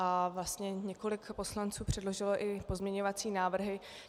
A vlastně několik poslanců předložilo i pozměňující návrhy.